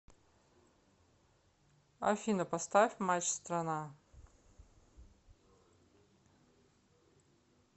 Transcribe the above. афина поставь матч страна